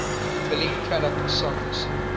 billy craddock songs